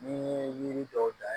N'i ye yiri dɔw da